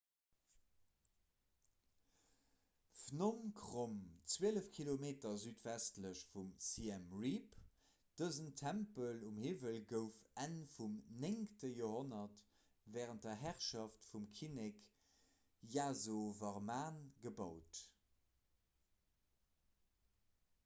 phnom krom 12 km südwestlech vu siem reap dësen tempel um hiwwel gouf enn vum 9 joerhonnert wärend der herrschaft vum kinnek yasovarman gebaut